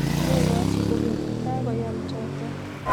Megochi kogeny kagoyam choto